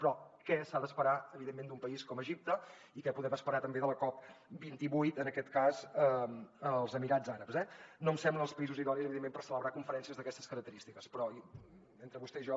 però què s’ha d’esperar evidentment d’un país com egipte i què podem esperar també de la cop28 en aquest cas als emirats àrabs eh no em semblen els països idonis evidentment per celebrar conferències d’aquestes característiques però entre vostè i jo